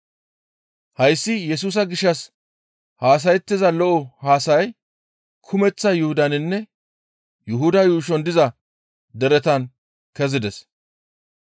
Hayssi Yesusa gishshas haasayettiza lo7o haasayay kumeththa Yuhudaninne Yuhuda yuushon diza deretan kezides.